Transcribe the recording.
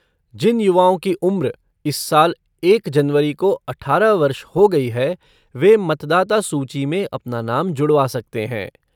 जिन युवाओं की उम्र इस साल एक जनवरी को अठारह वर्ष हो गई है, वे मतदाता सूची में अपना नाम जुड़वा सकते हैं।